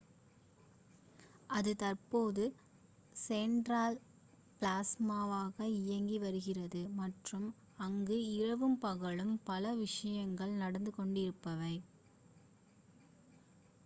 அது தற்போது செண்ட்ரல் ப்ளாஸாவாக இயங்கி வருகிறது மற்றும் அங்கு இரவும் பகலும் பல விஷயங்கள் நடந்து கொண்டிருப்பவை